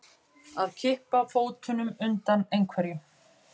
Að kippa fótunum undan einhverju